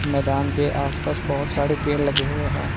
मैदान के आस पास बहोत सारे पेड़ लगे हुए है।